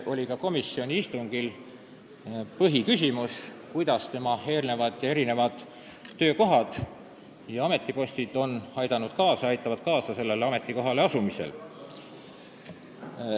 Komisjonis oli põhiküsimus, kuidas aitavad Holmi eelmised töökohad ja ametid kaasa sellele ametikohale asumisel.